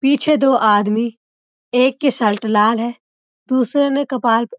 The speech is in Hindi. पीछे दो आदमी एक की शर्ट लाल है दूसरे ने कपाल --